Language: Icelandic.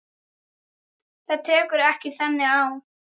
Þetta tekur ekki þannig á.